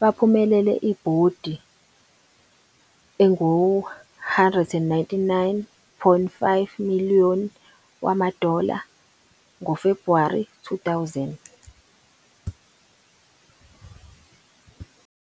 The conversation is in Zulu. baphumelele ibhondi engu-199.5 million wama-dollar ngoFebhuwari 2000.